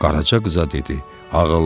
Qaraca qıza dedi: